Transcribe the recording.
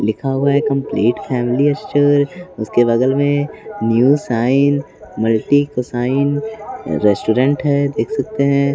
लिखा हुआ है कंप्लीट फैमिली स्टोर उसके बगल में new sign multi cuisine restaurant है देख सकते हैं।